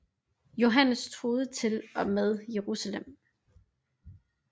Johannes truede til og med Jerusalem